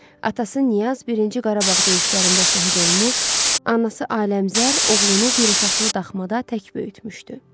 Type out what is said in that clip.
Atası Niyaz birinci Qarabağ döyüşlərində şəhid olmuş, anası Aləmqəzər oğlunu bir otaqlı daxmada tək böyütmüşdü.